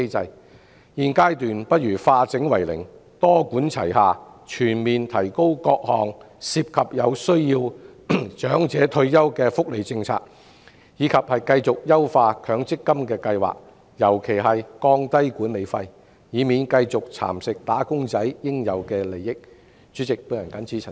在現階段，不如化整為零，多管齊下，全面加強各項涉及有需要長者退休福利的措施，以及繼續優化強積金計劃，尤其是降低管理費，以免"打工仔"應有的利益繼續被蠶食。